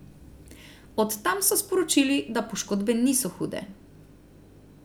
Od tam so sporočili, da poškodbe niso hude.